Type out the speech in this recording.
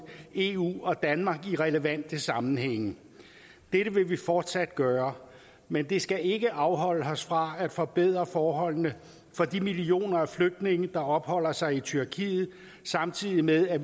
eu og danmark i relevante sammenhænge dette vil vi fortsat gøre men det skal ikke afholde os fra at forbedre forholdene for de millioner af flygtninge der opholder sig i tyrkiet samtidig med at